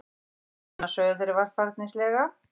Hæ, vina, sögðu þeir varfærnislega.